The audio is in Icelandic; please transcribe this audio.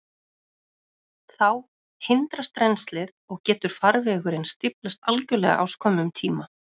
Þá hindrast rennslið, og getur farvegurinn stíflast algjörlega á skömmum tíma.